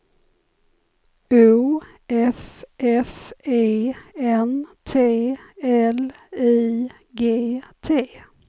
O F F E N T L I G T